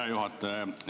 Hea juhataja!